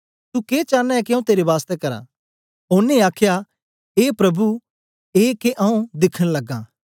तू के चांना ऐं के आऊँ तेरे बास्तै करां ओनें आखया ए प्रभु ए के आऊँ दिखन लगां